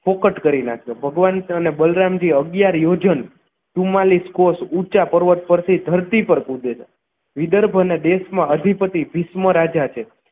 ફોકટ કરી નાખ્યો ભગવાન અને બલરામજી અગિયાર યોજન ચુમાંલીશ કોશ ઉંચા પર્વત પરથી ધરતી પર કૂદે છે વિદર્ભઅને દેશમા અધિપતિ ભીષ્મ રાજા છે